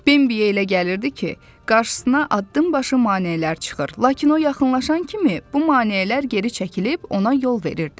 Bimbiya elə gəlirdi ki, qarşısına addımbaşı maneələr çıxır, lakin o yaxınlaşan kimi bu maneələr geri çəkilib ona yol verirdi.